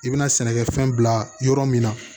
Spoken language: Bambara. I bɛna sɛnɛkɛfɛn bila yɔrɔ min na